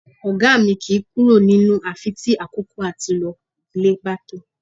Ọ̀gá mi kìí kúrò nínú àfi tí àkókò àti lọ ilé bá tó